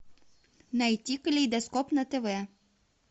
найти калейдоскоп на тв